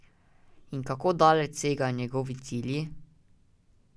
In kako daleč segajo njegovi cilji?